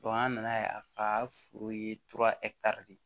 an nana ye a ka foro ye de